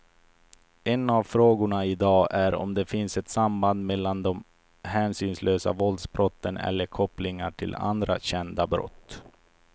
En av frågorna i dag är om det finns ett samband mellan de hänsynslösa våldsbrotten eller kopplingar till andra kända brott.